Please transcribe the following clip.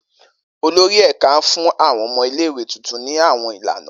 Olori ẹka n fun awọn ọmọ ile-iwe tuntun ni awọn ilana.